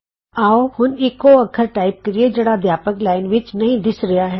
ਆਉ ਹੁਣ ਇਕ ਉਹ ਅੱਖਰ ਟਾਈਪ ਕਰੀਏ ਜਿਹੜਾ ਅਧਿਆਪਕ ਲਾਈਨ ਟੀਚਰਜ਼ ਲਾਈਨ ਵਿਚ ਨਹੀਂ ਦਿੱਸ ਰਿਹਾ